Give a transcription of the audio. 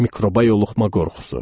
Mikroba yoluxma qorxusu.